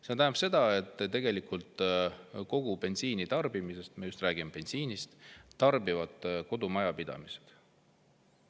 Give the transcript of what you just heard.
See tähendab seda, et tegelikult kogu bensiinitarbimisest – me räägime just bensiinist – tarbivad kodumajapidamised.